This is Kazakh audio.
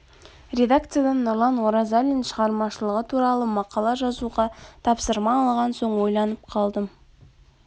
редакциядан нұрлан оразалин шығармашылығы туралы макала жазуға тапсырма алған соң ойланып қалдым